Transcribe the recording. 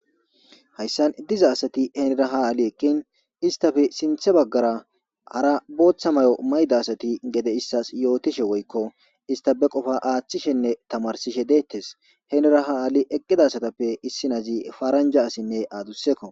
Hayssa diza asathi hinira ha ade eqqidin isththape sinrththe baggara hara booththa maayo mayida asathi gede issaas yoothishe woykko isththape qofaa aaththishenne thammarssishe deeththes; hinira haa eqqida asathappe issinazi paranjja asinne adussekkoo.